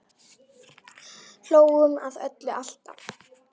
Hlógum að öllu, alltaf.